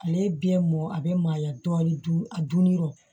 Ale ye biyɛn mɔn a bɛ mayɔ dun a dunni yɔrɔ